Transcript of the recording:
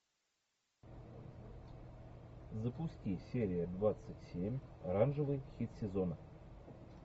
запусти серия двадцать семь оранжевый хит сезона